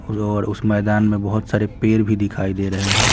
और उस मैदान में बहुत सारे पेर भी दिखाई दे रहे हैं।